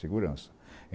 Segurança.